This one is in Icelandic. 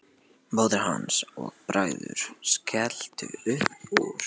Móðir hans og bræður skelltu upp úr.